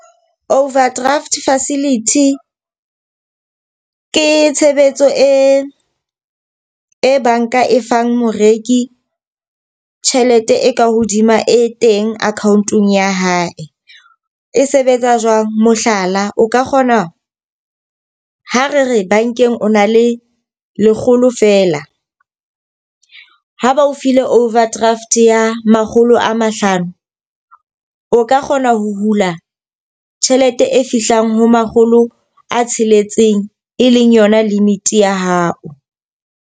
Overdraft facility ke tshebetso e e banka e fang moreki tjhelete e ka hodima e teng account-ong ya hae. E sebetsa jwang? Mohlala, o ka kgona ho re re bankeng o na le lekgolo feela ha ba o file overdraft ya a makgolo a mahlano o ka kgona ho hula tjhelete e fihlang ho makgolo a tsheletseng e leng yona limit ya hao.